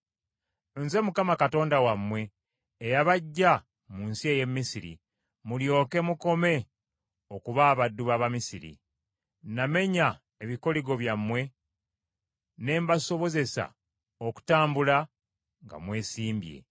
Nze Mukama Katonda wammwe eyabaggya mu nsi ey’e Misiri, mulyoke mukome okuba abaddu b’Abamisiri; namenya ebikoligo byammwe ne mbasobozesa okutambula nga mwesimbye.